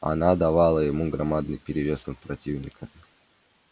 она давала ему громадный перевес над противниками